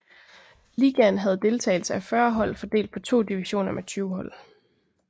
Ligaen havde deltagelse af 40 hold fordelt på to divisioner med 20 hold